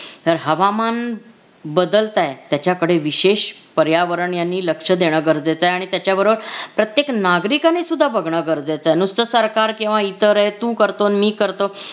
तर हवामान बदलतय त्याच्याकडे विशेष पर्यावरण यांनी लक्ष देणं गरजेचं आहे आणि त्याच्याबरोबर प्रत्येक नागरिकानेसुद्धा बघणं गरजेचं आहे नुसतं सरकार किंवा इतर आहे तू करतो न मी करतो